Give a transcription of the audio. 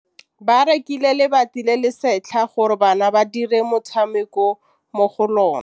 Ba rekile lebati le le setlha gore bana ba dire motshameko mo go lona.